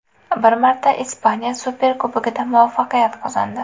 Bir marta Ispaniya Superkubogida muvaffaqiyat qozondi.